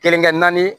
Kelenkɛ naani